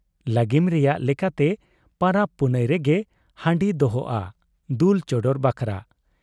ᱞᱟᱹᱜᱤᱢ ᱨᱮᱭᱟᱜ ᱞᱮᱠᱟᱛᱮ ᱯᱟᱨᱟᱵᱽ ᱯᱩᱱᱟᱹᱭ ᱨᱮᱜᱮ ᱦᱟᱺᱰᱤ ᱫᱚᱦᱚᱜ ᱟ ᱫᱩᱞ ᱪᱚᱰᱚᱨ ᱵᱟᱠᱷᱨᱟ ᱾